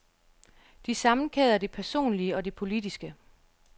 De sammenkæder det personlige og det politiske.